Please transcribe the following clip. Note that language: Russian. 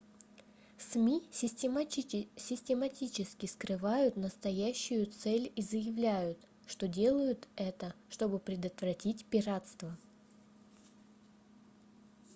сми систематически скрывают настоящую цель и заявляют что делают это чтобы предотвратить пиратство